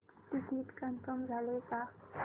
ticket confirm झाले का